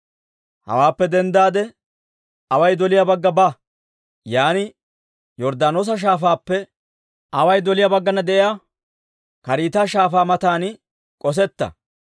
«Hawaappe denddaade away doliyaa bagga ba; yaan Yorddaanoosa Shaafaappe away doliyaa baggana de'iyaa Kariita Shaafaa matan k'osetta.